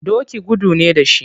Doki gudu ne da shi.